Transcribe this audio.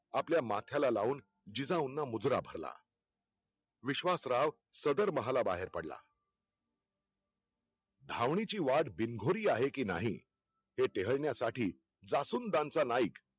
आपल्या माथ्याला लाऊन जिजाऊंना मुजरा भरला. विश्वासराव सदर महाला बाहेर पडला. धाविनीची वाट बिनघोर आहे कि नाही हे टेहळण्या साठी जासुंदांचा नाईक